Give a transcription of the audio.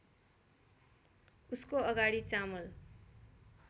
उसको अगाडि चामल